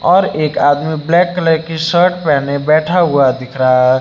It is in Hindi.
और एक आदमी ब्लैक कलर के शर्ट पहने बैठा हुआ दिख रहा है।